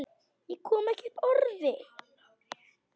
Ég kom ekki upp orði.